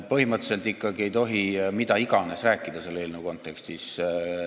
Põhimõtteliselt ikkagi ei tohi mida iganes rääkida selle eelnõu kontekstis.